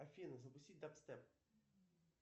афина запустить дабстеп